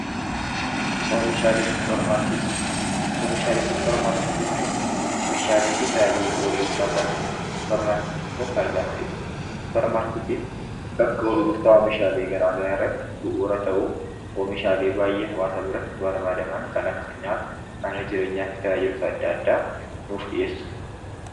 Oomishaalee Suppermaarkeetii: Oomishaalee Suppermaarkeetii jechuun meeshaalee fi tajaajila gurgurtaa kan Suppermaarkeetii keessatti argamanidha. Suppermaarkeetiin bakka gurgurtaa oomishaalee gara garaa irratti bu'uura ta'u, oomishaalee baay'ee hawwaasa buratti barbaadaman kan akka nyaata, mana jireenyaa fi tajaajiloota adda addaa nuuf dhiyeessa.